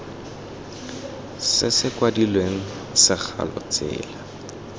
se se kwadilweng segalo tsela